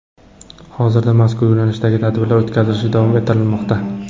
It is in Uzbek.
Hozirda mazkur yo‘nalishdagi tadbirlar o‘tkazilishi davom ettirilmoqda.